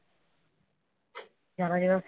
জানুয়ারি মাসে,